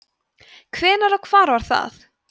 hvenær og hvar var það